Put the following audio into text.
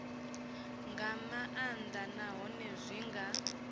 nga maanḓa nahone zwi nga